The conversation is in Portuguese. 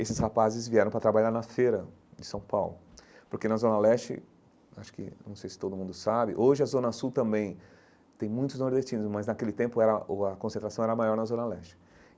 Esses rapazes vieram para trabalhar na feira de São Paulo, porque na Zona Leste, acho que, não sei se todo mundo sabe, hoje a Zona Sul também tem muitos nordestinos, mas naquele tempo era o a a concentração era maior na Zona Leste.